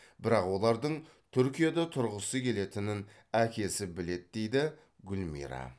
бірақ олардың түркияда тұрғысы келетінін әкесі біледі дейді гүлмира